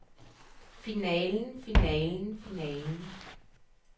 finalen finalen finalen